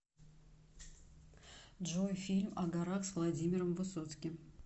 джой фильм о горах с владимиром высоцким